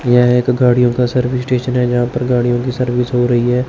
यह एक गाड़ियों का सर्विस स्टेशन है जहां पर गाड़ियों की सर्विस हो रही है।